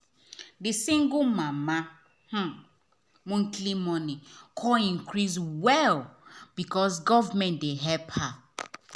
the single mama um monthly money come increase well because government dey help her.